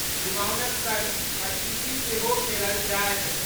चुमाओनक संग पचीसी सेहो खेलल जायत।